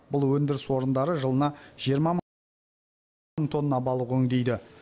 бұл өндіріс орындары жылына жиырма мың тонна балық өңдейді